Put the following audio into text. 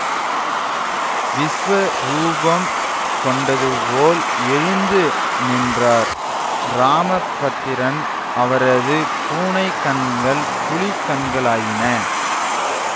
விசுவரூபம் கொண்டதுபோல் எழுந்து நின்றார் ராமபத்திரன் அவரது பூனைக்கண்கள் புலிக்கண்களாயின